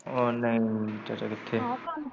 ਉਹ ਨਹੀਂ ਸਵੇਰੇ ਕਿੱਥੇ .